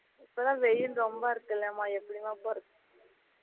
இப்போலாம் வெயில் ரொம்ப இருக்குலாமா எப்படி மா போகுறது